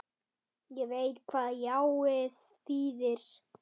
Ég veit hvað jáið þýðir.